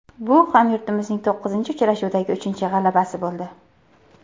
Bu hamyurtimizning to‘qqizinchi uchrashuvdagi uchinchi g‘alabasi bo‘ldi.